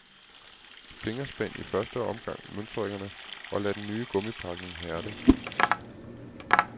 Fingerspænd i første omgang møtrikkerne og lad den nye gummipakning hærde.